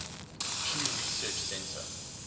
pew research center